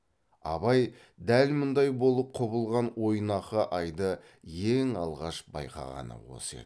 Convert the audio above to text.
абай дәл мұндай болып құбылған ойнақы айды ең алғаш байқағаны осы еді